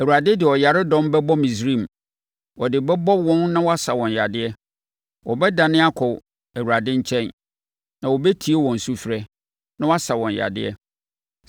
Awurade de ɔyaredɔm bɛbɔ Misraim; ɔde bɛbɔ wɔn na wasa wɔn yadeɛ. Wɔbɛdane akɔ Awurade nkyɛn, na ɔbɛtie wɔn sufrɛ, na wasa wɔn yadeɛ.